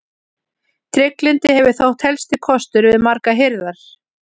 Trygglyndi hefur þótt helsti kostur við margar hirðir.